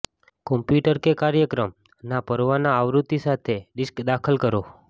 computer કે કાર્યક્રમ ના પરવાના આવૃત્તિ સાથે ડિસ્ક દાખલ કરો